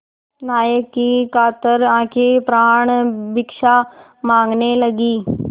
नायक की कातर आँखें प्राणभिक्षा माँगने लगीं